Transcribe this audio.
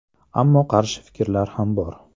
Ammo qarshi fikrlar ham bor.